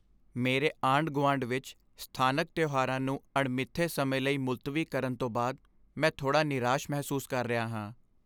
ਮੇਰੇ ਆਂਢ ਗੁਆਂਢ ਵਿੱਚ ਸਥਾਨਕ ਤਿਉਹਾਰਾਂ ਨੂੰ ਅਣਮਿੱਥੇ ਸਮੇਂ ਲਈ ਮੁਲਤਵੀ ਕਰਨ ਤੋਂ ਬਾਅਦ ਮੈਂ ਥੋੜ੍ਹਾ ਨਿਰਾਸ਼ ਮਹਿਸੂਸ ਕਰ ਰਿਹਾ ਹਾਂ